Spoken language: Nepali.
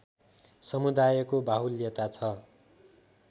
समुदायको बाहुल्यता छ